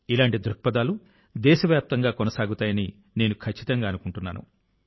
ఇలాంటి ధోరణులు దేశవ్యాప్తంగా కొనసాగుతాయని నేను ఖచ్చితంగా అనుకుంటున్నాను